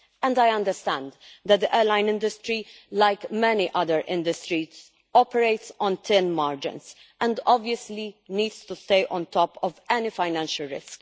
I understand that the airline industry, like many other industries, operates on thin margins and obviously needs to stay on top of any financial risk.